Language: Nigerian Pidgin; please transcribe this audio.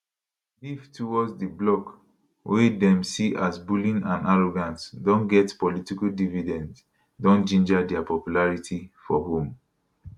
beef towards di bloc wey dem see as bullying and arrogant don get political dividends don ginger dia popularity for home